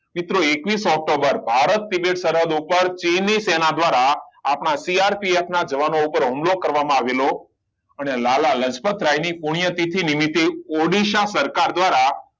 મિત્રો એકવીસ ઓક્ટોબર ભારત ના શરહદ ઉપર ચીની સેનાએ દ્વારા CRPF ના જવાનો ઉપર હુમલો કરવામાં આવ્યો હતો અને લાલા લજપત રાય ની પુણ્ય તિથિ નિમિતે ઓડિસા સરકાર દ્વારા